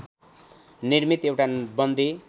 निर्मित एउटा बन्दी